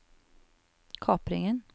kapringen